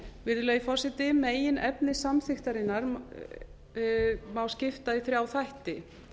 virðulegi forseti meginefni samþykktarinnar má skipta í þrjá þætti